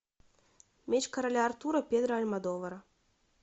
меч короля артура педро альмодовара